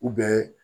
U bɛ